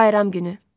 Bayram günü.